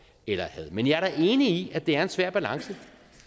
eller had men jeg er da enig i at det er en svær balance